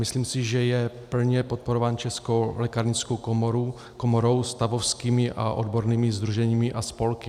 Myslím si, že je plně podporován Českou lékárnickou komorou, stavovskými a odbornými sdruženími a spolky.